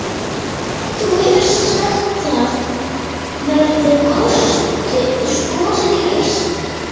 Lillý: Þú hefur sagt að það verði kosið í haust?